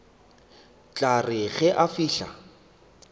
tla re ge a fihla